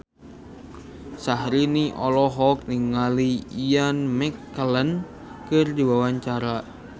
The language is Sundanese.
Syahrini olohok ningali Ian McKellen keur diwawancara